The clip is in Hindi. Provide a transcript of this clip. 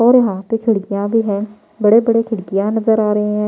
और यहाँ पे खिड़कियाँ भी हैं बड़े-बड़े खिड़कियाँ नजर आ रहे हैं।